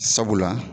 Sabula